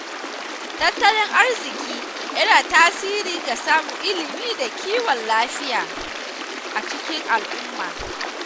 Tattalin arziki yana tasiri ga samun ilimi da kiwon lafiya a cikin al'umma.